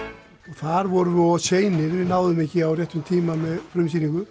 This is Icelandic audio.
þar vorum við of seinir við náðum ekki á réttum tíma með frumsýningu